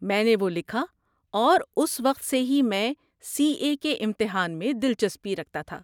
میں نے وہ لکھا اور اس وقت سے ہی میں سی اے کے امتحان میں دلچسپی رکھتا تھا۔